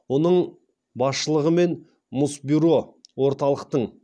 оның басшылығымен мұсбюро орталықтың